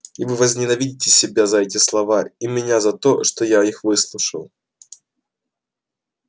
и вы возненавидите себя за эти слова и меня за то что я их выслушал